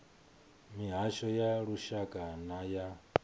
mihasho ya lushaka na ya